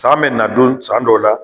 San bɛna don san dɔw la